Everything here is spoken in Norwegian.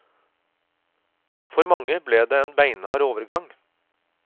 For mange ble det en beinhard overgang.